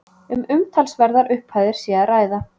Um umtalsverðar upphæðir sé að ræða